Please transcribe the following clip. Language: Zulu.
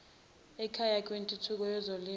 elakhayo kwintuthuko yezolimo